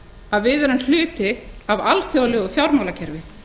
að við erum hluti af alþjóðlegu fjármálakerfi